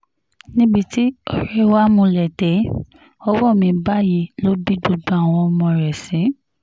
níbi tí ọ̀rẹ́ wa múlé dé ọwọ́ mi báyìí ló bí gbogbo àwọn ọmọ rẹ̀ sí